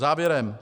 Závěrem.